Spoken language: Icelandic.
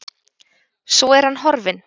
Svo er hann horfinn.